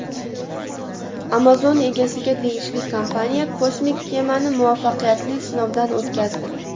Amazon egasiga tegishli kompaniya kosmik kemani muvaffaqiyatli sinovdan o‘tkazdi.